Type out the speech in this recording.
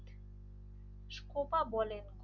Copa বলেন